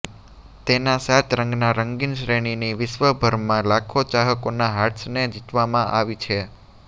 તેના સાત રંગના રંગીન શ્રેણીની વિશ્વભરમાં લાખો ચાહકોના હાર્ટ્સને જીતવામાં આવી છે